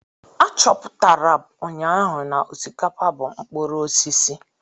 Achọpụtara m ụnyaahụ na osikapa bụ mkpụrụ osisi.